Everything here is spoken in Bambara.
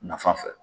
Nafa fɛ